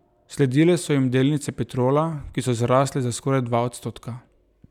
Sledile so jim delnice Petrola, ki so zrasle za skoraj dva odstotka.